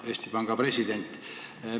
Hea Eesti Panga president!